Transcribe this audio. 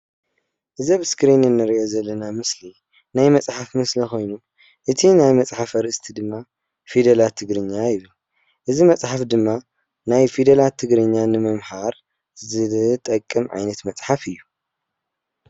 እዚ ኣብ እስክሪን እንሪኦ ዘለና ምስሊ ናይ መፅሓፍ ምስሊ ኾይኑ እቲ ናይ መፅሓፍ ኣርእስቲ ድማ ፊደላት ትግርኛ እዪ። እዚ መፅሓፍ ድማ ናይ ፊደላት ትግርኛ ንምምሓር ዝጠቅም ዓይነት መፅሓፍ እዩ።